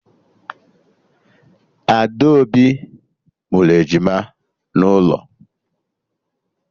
Adaobi mụrụ ejima n'ụlọ